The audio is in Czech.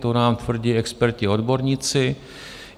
To nám tvrdí experti, odborníci.